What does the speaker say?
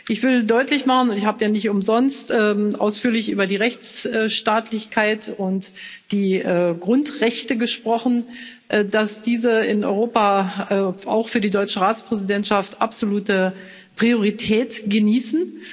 Ich will deutlich machen ich habe ja nicht umsonst ausführlich über die Rechtsstaatlichkeit und die Grundrechte gesprochen dass diese in Europa auch für die deutsche Ratspräsidentschaft absolute Priorität genießen.